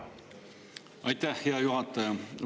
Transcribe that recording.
Aitäh, hea juhataja!